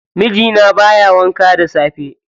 Mijina baya wanka da safe.